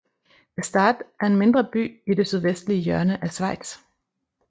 Gstaad er en mindre by i det sydvestlige hjørne af Schweiz